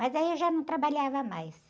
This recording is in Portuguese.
Mas aí eu já não trabalhava mais.